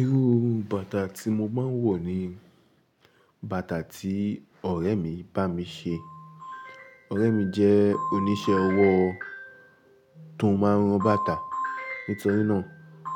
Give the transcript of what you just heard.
Irú bàtà tí mo máa ń wọ̀ ni bàtà tí ọ̀rẹ́ mi bá mi ṣe. Ọ̀rẹ́ mi jẹ́ oníṣẹ́ ọwọ́ tó máa ń rán bàtà. Nítorí náà,